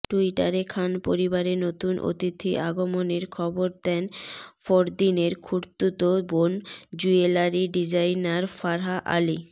টুইটারে খান পরিবারে নতুন অতিথি আগমনের খবর দেন ফরদিনের খুড়তুতো বোন জুয়েলারি ডিজাইনার ফারহা আলি